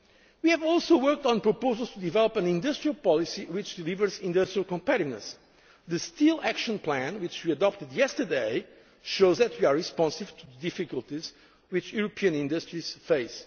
in early September. We have also worked on proposals to develop an industrial policy which delivers industrial competitiveness. The Steel Action Plan which we adopted yesterday shows that we are responsive to the difficulties which European